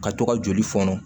Ka to ka joli fɔnɔ